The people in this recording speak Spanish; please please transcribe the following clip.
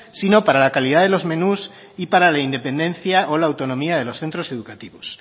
sino para la calidad de los menús y para la independencia o la autonomía de los centros educativos